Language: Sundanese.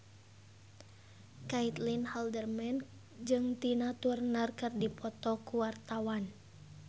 Caitlin Halderman jeung Tina Turner keur dipoto ku wartawan